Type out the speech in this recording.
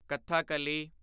Kathakali